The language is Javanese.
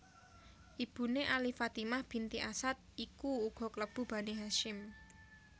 Ibuné Ali Fatimah binti Asad iku uga klebu Bani Hasyim